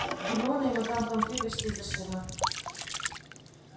гермиона и мадам помфри вышли из-за ширмы